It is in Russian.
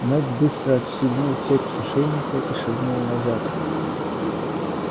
мэтт быстро отстегнул цепь с ошейника и шагнул назад